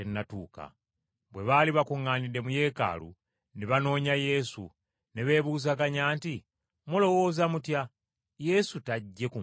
Bwe baali bakuŋŋaanidde mu Yeekaalu, ne banoonya Yesu, ne beebuuzaganya nti, “Mulowooza mutya? Yesu tajje ku mbaga?”